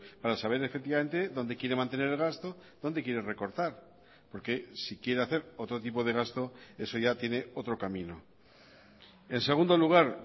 para saber efectivamente dónde quiere mantener el gasto dónde quiere recortar porque si quiere hacer otro tipo de gasto eso ya tiene otro camino en segundo lugar